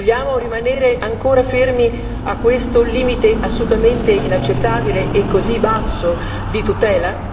Vogliamo rimanere ancora fermi a questo limite assolutamente inaccettabile e così basso di tutela?